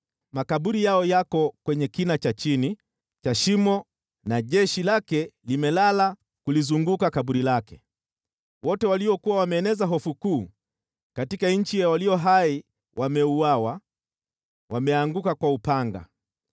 Makaburi yao yako kwenye kina cha chini cha shimo na jeshi lake limelala kulizunguka kaburi lake. Wote waliokuwa wameeneza hofu kuu katika nchi ya walio hai wameuawa, wameanguka kwa upanga.